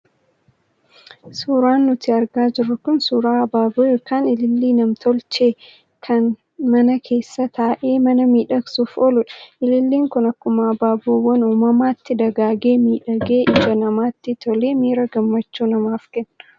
Suuraan nuti argaa jirru kun suuraa habaaboo yookiis ilillii nam-tolchee kan kan mana keessa taa'ee mana miidhagsuuf ooludha. Ililliin kun akkuma habaaboowwan uumamaatti dagaagee miidhagee ijaa namaatti tolee miira gammachuu namaaf kenna.